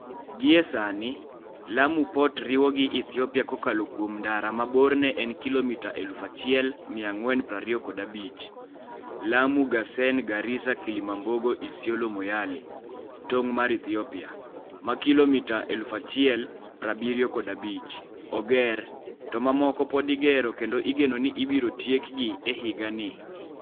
Gie sani, Lamu Port riwo gi Ethiopia kokalo kuom ndara ma borne en kilomita 1,425 - Lamu-Garsen-Garissa-Kilimambogo-Isiolo-Moyale (tong' mar Ethiopia), ma kilomita 1,075 oger, to mamoko pod igero kendo igeno ni ibiro tiekgi e higani.